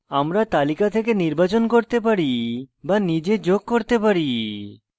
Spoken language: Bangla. আমরা তালিকা থেকে নির্বাচন করতে পারি বা নিজে যোগ করতে পারি